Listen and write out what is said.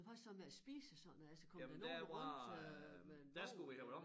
Men hvad så med at spise og sådan noget altså kommer der nogen rundt øh med en vogn eller